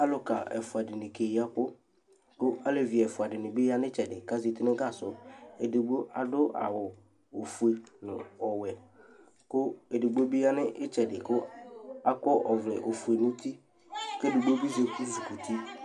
Alʋka ɛfʋa dɩnɩ keyɩ ɛkʋ kʋ alevɩ ɛfʋa dɩnɩ ya nʋ ɩtsɛdɩ kazatɩ nʋ gasɔ Edɩgbo aɖʋ awʋ ofʋe nʋ ɔwɛ kʋ edɩgbo bɩ yanʋ ɩtsɛdɩ kʋ akɔ ɔvlɛ ofʋe nʋ ʋtɩ kʋ edɩgbo bɩ ezɩ kʋtɩ